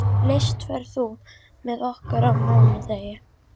List, ferð þú með okkur á mánudaginn?